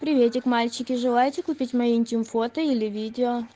приветик мальчики желаете купить мои интим фото или видео